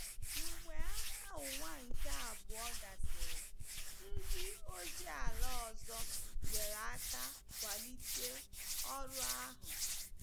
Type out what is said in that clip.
Mgbe Agha Ụwa nke Abụọ gasịrị, ndị ozi ala ọzọ nyere aka kwalite ọrụ ahụ.